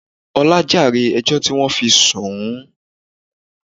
Ọlá jàre ẹjọ́ tí wọn fi sùn ún